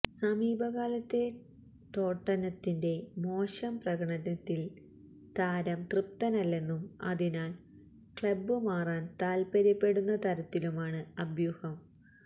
സമീപകാലത്തെ ടോട്ടനത്തിന്റെ മോശം പ്രകടനത്തില് താരം തൃപ്തനല്ലെന്നും അതിനാല് ക്ലബ്ബ് മാറാന് താത്പര്യപ്പെടുന്ന തരത്തിലുമാണ് അഭ്യൂഹം